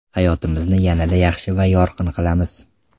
Hayotimizni yanada yaxshi va yorqin qilamiz!